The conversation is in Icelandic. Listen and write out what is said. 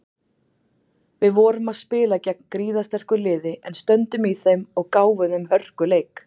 Við vorum spila gegn gríðarsterku liði en stöndum í þeim og gáfum þeim hörkuleik.